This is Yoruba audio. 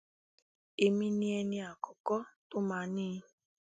èmi ni ẹni àkọkọ tó máa ní i